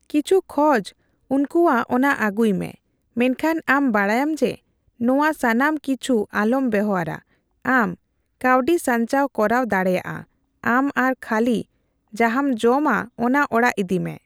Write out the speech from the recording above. ᱠᱤᱪᱷᱩ ᱠᱷᱚᱡ ᱩᱱᱠᱩᱭᱟᱜ ᱚᱱᱟ ᱟᱜᱩᱭ ᱢᱮ, ᱢᱮᱱᱠᱷᱟᱱ ᱟᱢ ᱵᱟᱰᱟᱭᱟᱢ ᱡᱮ ᱱᱚᱣᱟ ᱥᱟᱱᱟᱢ ᱠᱤᱪᱷᱩᱟᱞᱚᱢ ᱵᱮᱣᱦᱟᱨᱼᱟ, ᱟᱢ ᱠᱟᱹᱣᱰᱤ ᱥᱟᱧᱪᱟᱣ ᱠᱚᱨᱟᱣ ᱫᱟᱲᱮᱭᱟᱜᱼᱟ ᱟᱢ ᱟᱨ ᱠᱷᱟᱹᱞᱤ ᱡᱟᱦᱟᱸᱢ ᱡᱚᱢ ᱟᱜ ᱚᱱᱟ ᱚᱲᱟᱜ ᱤᱫᱤ ᱢᱮ ᱾